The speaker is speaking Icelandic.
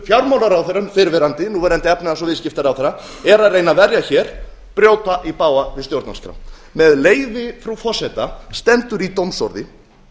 fjármálaráðherra fyrrverandi núverandi efnahags og viðskiptaráðherra er að reyna að verja hér brjóta í bága við stjórnarskrá með leyfi frú forseta stendur í dómsorði